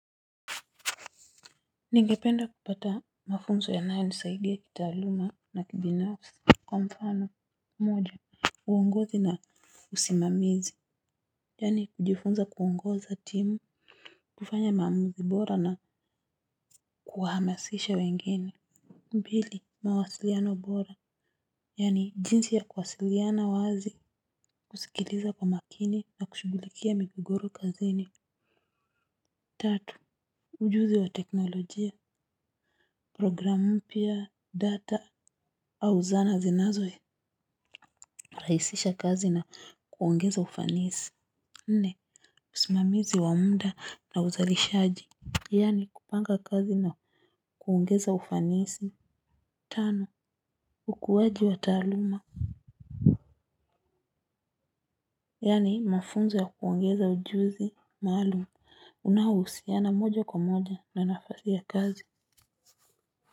Ningependa kupata mafunzo yanayo nisaidia kitaaluma na kibinafsi. Kwa mfano moja uongozi na usimamizi. Yani kujifunza kuongoza timu kufanya maamuzi bora na kuhamasisha wengine. Mbili mawasiliano bora. Yani jinsi ya kuwasiliana wazi. Kusikiliza kwa makini na kushugulikia migogoro kazini. Tatu ujuzi wa teknolojia. Programu pia data au zana zinazo raisisha kazi na kuongeza ufanisi. Nne usimamizi wa muda na uzalishaji. Yani kupanga kazi na kuongeza ufanisi. Tano ukuwaji wa taaluma. Yani mafunzo ya kuongeza ujuzi maalum unaohusiana moja kwa moja na nafasi ya kazi.